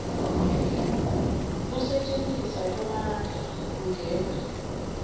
kusetjentiswa kwemandla kungena